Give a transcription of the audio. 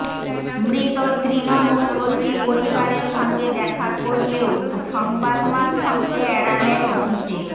মৃত তৃণমূল কর্মীর পরিবারের সঙ্গে দেখা করলেও সংবাদমাধ্যমকে এড়ালেন অভিষেক